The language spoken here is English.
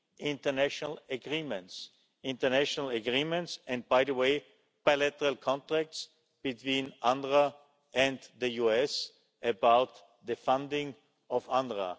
international agreements international agreements and, by the way, bilateral contracts between UNRWA and the US about the funding of UNRWA.